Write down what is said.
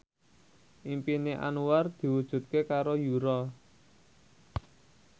impine Anwar diwujudke karo Yura